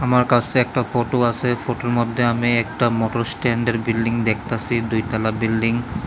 আমার কাছে একটা ফটো আছে ফটোর মধ্যে আমি একটা মোটর স্ট্যান্ডের বিল্ডিং দেখতাছি দুই তলা বিল্ডিং ।